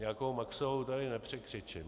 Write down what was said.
Nějakou Maxovou tady nepřekřičím.